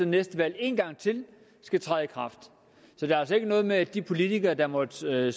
næste valg igen skal træde i kraft så det er altså ikke noget med at de politikere der måtte sidde